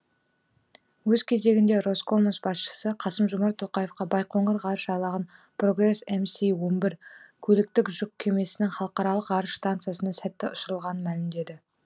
өз кезегінде роскосмос басшысы қасым жомарт тоқаевқа байқоңыр ғарыш айлағынан прогресс мс он бір көліктік жүк кемесінің халықаралық ғарыш стансасына сәтті ұшырылғанын мәлімдеді